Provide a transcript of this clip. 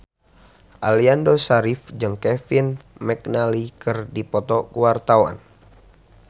Aliando Syarif jeung Kevin McNally keur dipoto ku wartawan